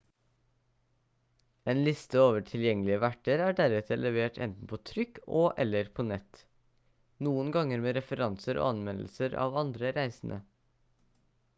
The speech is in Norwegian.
en liste over tilgjengelige verter er deretter levert enten på trykk og/eller på nett noen ganger med referanser og anmeldelser av andre reisende